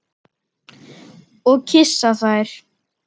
Og kyssa þær.